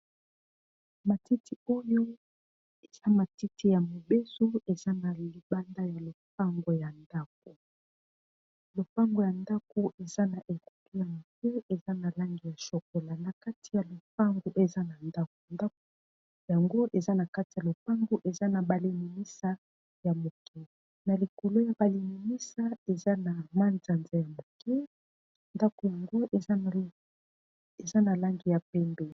Matiti oyo eza matiti ya mobeso eza na libanda ya lopango ,ya ndako lopango ya ndako eza na ekolo ya moke eza na langi ya shokola na kati ya lopango eza na ndako, ndako yango eza na kati ya lopango eza na ba limimisa ya moke na likolo ya balimimisa eza na mwanzanza ya moke ndako yango eza na langi ya pembe.